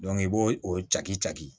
i b'o o caki taki